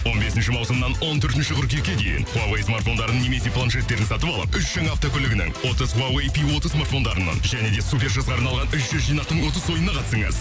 он бесінші маусымнан он төртінші қыркүйекке дейін хуавей смартфондарын немесе планшеттерді сатып алып үш жаңа автокөлігінің отыз хуавей пи смартфондарының және де супер жасқа арналған үш жүз жинақтың отыз ойына қатысыңыз